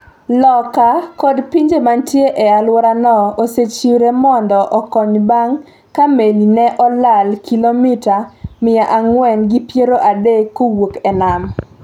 loka kod pinje mantie e alworano osechiwre mondo okony bang’ ka meli ne olal kilomita miya ang'wen gi piero adek kowuok e nam.